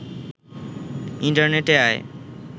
ইন্টারনেটে আয়